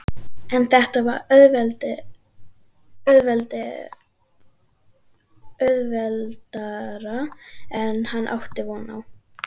En var þetta auðveldara en hann átti von á?